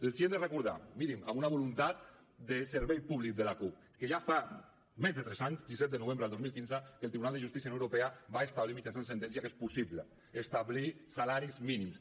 els hem de recordar mirin amb una voluntat de servei públic de la cup que ja fa més de tres anys disset de novembre del dos mil quinze que el tribunal de justícia de la unió europea va establir mitjançant sentència que és possible establir salaris mínims